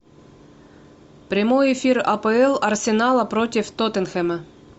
прямой эфир апл арсенала против тоттенхэма